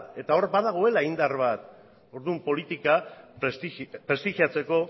eta hor badagoela indar bat orduan politika prestigiatzeko